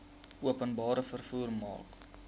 openbare vervoer mark